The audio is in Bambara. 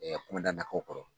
kunda na ko kɔrɔ